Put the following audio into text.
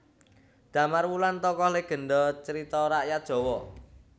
Damar Wulan tokoh legenda carita rakyat Jawa